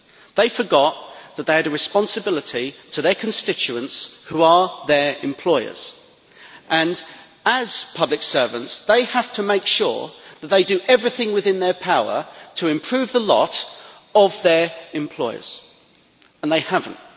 They forgot that they had a responsibility to their constituents, who are their employers. As public servants they have to make sure that they do everything within their power to improve the lot of their employers, and they have not.